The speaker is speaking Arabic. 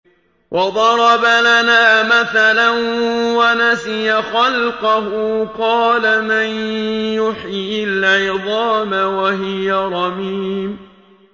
وَضَرَبَ لَنَا مَثَلًا وَنَسِيَ خَلْقَهُ ۖ قَالَ مَن يُحْيِي الْعِظَامَ وَهِيَ رَمِيمٌ